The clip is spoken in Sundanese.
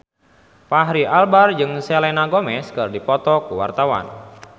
Fachri Albar jeung Selena Gomez keur dipoto ku wartawan